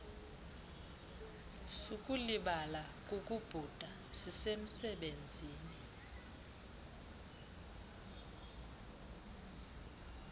sukulibala kukubhuda sisemsebenzini